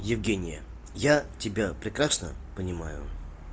евгения я тебя прекрасно понимаю